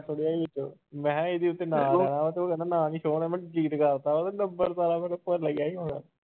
ਮੈਂ ਕਿਹਾ ਇਹਦੇ ਉੱਤੇ ਨਾਂ ਆ ਜਾਣਾ ਤੇ ਉਹ ਕਹਿੰਦਾ ਨਾਂ ਨੀ show ਹੋਣਾ ਮੈਂ delete ਕਰ ਦਿੱਤਾ ਉਹਨੇ number ਸਾਰਾ ਕੁਛ ਭੁੱਲ ਗਿਆ ਹੀ ਹੋਣਾ